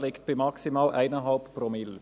Er liegt bei maximal 1,5 Promille.